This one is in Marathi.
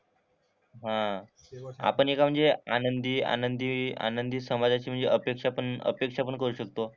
हां. आपण एका म्हणजे आनंदी आनंदी आनंदी समाजाची म्हणजे अपेक्षा पण अपेक्षा पण करू शकतो.